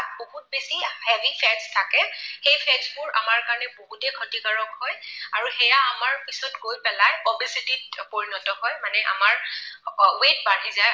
বহুত বেছি heavy fat থাকে। সেই fat বোৰ আমাৰ কাৰণে বহুতেই ক্ষতিকাৰক হয় আৰু সেয়া আমাৰ পিছত গৈ পেলাই obesity ত পৰিণত হয় মানে আমাৰ weight বাঢ়ি যায়।